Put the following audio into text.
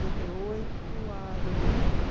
noventa e oito a dois mil e quatro